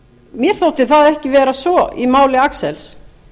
mér þótti það ekki vera svo í máli axels